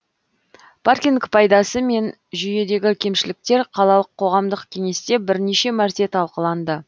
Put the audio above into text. паркинг пайдасы мен жүйедегі кемшіліктер қалалық қоғамдық кеңесте бірнеше мәрте талқыланды